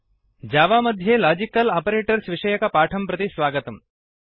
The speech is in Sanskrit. जावा मध्ये लाजिकल् आपरेटर्स् विषयकपाठं प्रति स्वागतम्